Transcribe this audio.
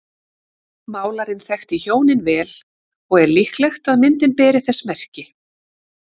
Málarinn þekkti hjónin vel og er líklegt að myndin beri þess merki.